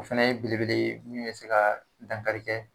O fana ye belebele ye mun be se ka dankari kɛ